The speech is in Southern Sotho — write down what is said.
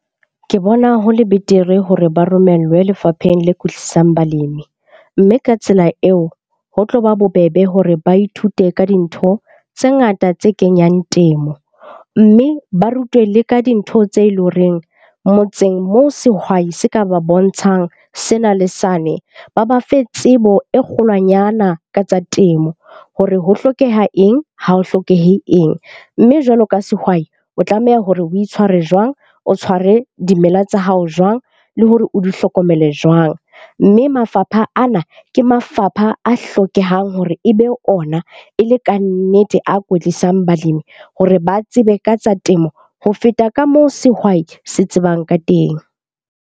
Ke bona hole betere hore ba romellwe lefapheng le kwetlisang balemi. Mme ka tsela eo ho tlo ba bobebe hore ba ithute ka dintho tse ngata tse kenyang temo. Mme ba rutwe le ka dintho tse leng horeng motseng moo sehwai se ka ba bontshang sena le sane, ba ba fe tsebo e kgolwanyana ka tsa temo hore ho hlokeha eng ha ho hlokehe eng, mme jwalo ka sehwai o tlameha hore o itshware jwang, o tshware dimela tsa hao jwang, le hore o di hlokomele jwang. Mme mafapha ana ke mafapha a hlokehang hore e be ona e le kannete a kwetlisang balimi. Hore ba tsebe ka tsa temo ho feta ka moo sehwai se tsebang ka teng.